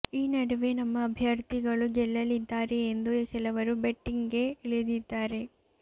ಈ ನಡುವೆ ನಮ್ಮ ಅಭ್ಯರ್ಥಿಗಳು ಗೆಲ್ಲಲ್ಲಿದ್ದಾರೆ ಎಂದು ಕೆಲವರು ಬೆಟ್ಟಿಂಗ್ ಗೆ ಇಳಿದಿದ್ದಾರೆ